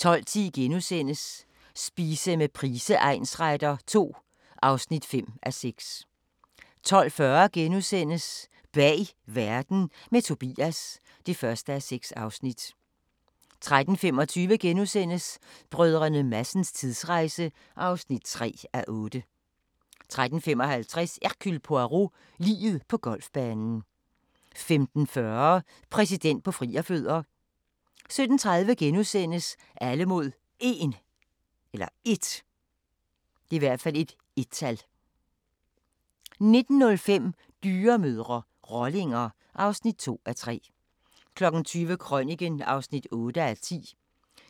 12:10: Spise med Price egnsretter II (5:6)* 12:40: Bag verden – med Tobias (1:6)* 13:25: Brdr. Madsens tidsrejse (3:8)* 13:55: Hercule Poirot: Liget på golfbanen 15:40: Præsident på frierfødder 17:30: Alle mod 1 * 19:05: Dyremødre – rollinger (2:3) 20:00: Krøniken (8:10)